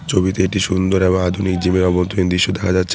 ছবিতে একটি সুন্দর এবং আধুনিক জিমের অভ্যন্তরীণ দিশ্য দেখা যাচ্ছে।